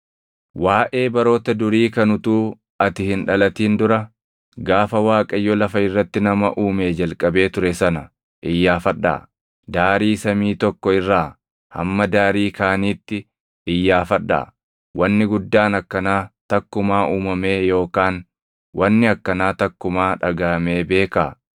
Waaʼee baroota durii kan utuu ati hin dhalatin dura gaafa Waaqayyo lafa irratti nama uumee jalqabee ture sana iyyaafadhaa; daarii samii tokko irraa hamma daarii kaaniitti iyyaafadhaa. Wanni guddaan akkanaa takkumaa uumamee yookaan wanni akkanaa takkumaa dhagaʼamee beekaa?